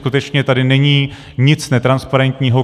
Skutečně tady není nic netransparentního.